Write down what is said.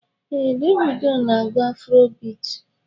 Ee, Davido na-agụ afrobit.